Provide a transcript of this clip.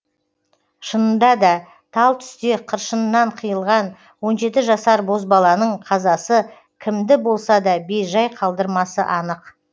шынында да тал түсте қыршынынан қиылған он жеті жасар бозбаланың қазасы кімді болса да бейжай қалдырмасы анық